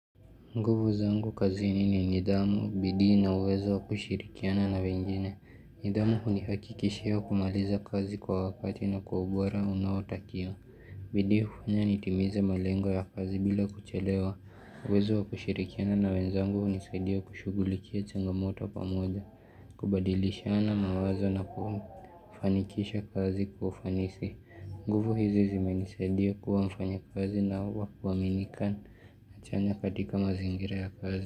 Nguvu zangu kazi ni ni nidhamu, bidii na uwezo wa kushirikiana na wengine. Nidhamu hunihakikishia kumaliza kazi kwa wakati na kwa ubora unawotakiwa. Bidii hufanya nitimize malengo ya kazi bila kuchelewa. Uwezo wa kushirikiana na wenzangu hunisaidia kushughulikia changamoto pamoja. Kubadilishana mawazo na kufanikisha kazi kwa ufanisi. Nguvu hizi zimenisaidia kuwa mfanyakazi na wakuaminika. Hachanya katika mazingira ya kazi.